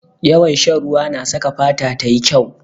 Yawan shan ruwa na saka fata tayi kyau.